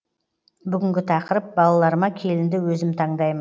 бүгінгі тақырып балаларыма келінді өзім таңдаймын